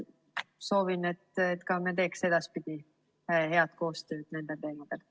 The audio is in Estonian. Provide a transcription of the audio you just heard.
Soovin, et me teeks ka edaspidi head koostööd nendel teemadel.